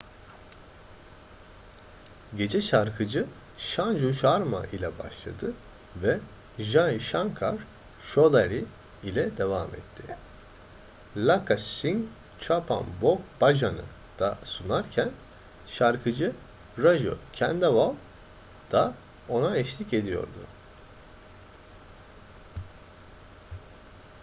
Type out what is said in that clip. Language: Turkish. gece şarkıcı sanju sharma ile başladı ve jai shankar choudhary ile devam etti lakkha singh chappan bhog bhajan'ı da sunarken şarkıcı raju khandelwal da ona eşlik ediyordu